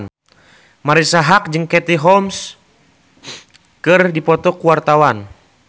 Marisa Haque jeung Katie Holmes keur dipoto ku wartawan